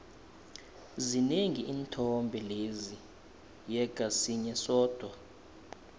zinengi iinthombe lezi yeqa sinye sodwa